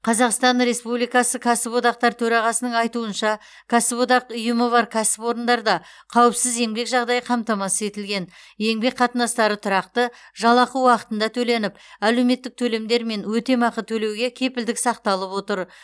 қазақстан республикасы кәсіптік одақтар төрағасының айтуынша кәсіподақ ұйымы бар кәсіпорындарда қауіпсіз еңбек жағдайы қамтамасыз етілген еңбек қатынастары тұрақты жалақы уақытында төленіп әлеуметтік төлемдер мен өтемақы төлеуге кепілдік сақталып отыр